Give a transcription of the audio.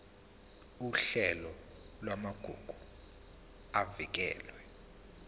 uhlelo lwamagugu avikelwe